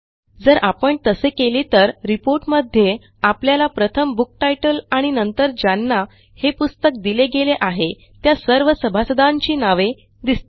जर आपण तसे केले तर reportमध्ये आपल्याला प्रथम बुक टायटल आणि नंतर ज्यांना हे पुस्तक दिले गेले आहे त्या सर्व सभासदांची नावे दिसतील